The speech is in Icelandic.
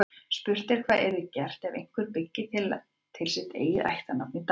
Spurt er hvað yrði gert ef einhver byggi til sitt eigið ættarnafn í dag.